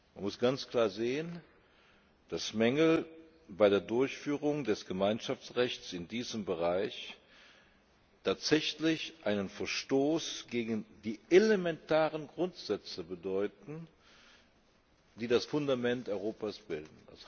Man muss ganz klar sehen, dass Mängel bei der Durchführung des Gemeinschaftsrechts in diesem Bereich tatsächlich einen Verstoß gegen die elementaren Grundsätze bedeuten, die das Fundament Europas bilden.